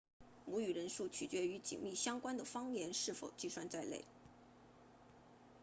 母语人数取决于紧密相关的方言是否计算在内